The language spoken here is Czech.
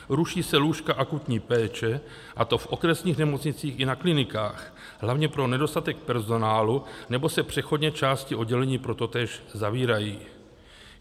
Ruší se lůžka akutní péče, a to v okresních nemocnicích i na klinikách, hlavně pro nedostatek personálu, nebo se přechodně části oddělení pro totéž zavírají.